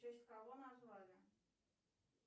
в честь кого назвали